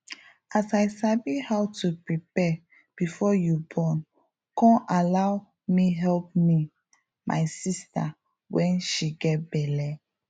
as i sabi how to prepare before you born con allow me help me my sister wen she get belle